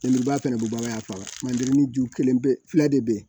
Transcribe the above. fana bɛ bɔ ka fa manje ju kelen bɛ filɛ de